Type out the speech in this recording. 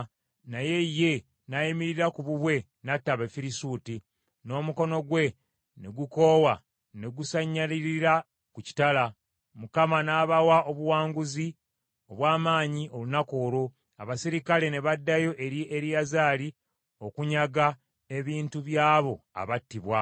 naye ye nayimirira ku bubwe n’atta Abafirisuuti, n’omukono gwe ne gukoowa, ne gusanyalalira ku kitala. Mukama n’abawa obuwanguzi obw’amaanyi olunaku olwo, abaserikale ne baddayo eri Eriyazaali okunyaga ebintu byabo abattibwa.